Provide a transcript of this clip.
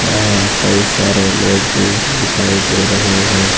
यहां कई सारे लोग भी दिखाई दे रहे हैं।